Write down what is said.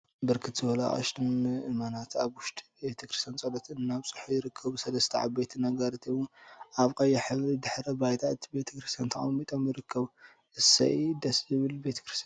ብርክት ዝበሉ አቅሽትን ምእመናትን አብ ወሽጢ ቤተ ክርስትያን ፀሎት እናብፅሑ ይርከቡ፡፡ ሰለስተ ዓበይቲ ነጋሪት እውን አብ ቀይሕ ሕብሪ ድሕረ ባይታ እቲ ቤተ ክርስትያን ተቀሚጦም ይርከቡ፡፡ እሰይ! ደስ ዝብል ቤተ ክርስትያን፡፡